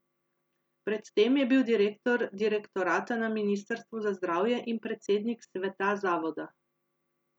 Pred tem je bil direktor direktorata na ministrstvu za zdravje in predsednik sveta zavoda.